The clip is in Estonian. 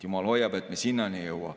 Jumal hoiab, et me sinnani ei jõua.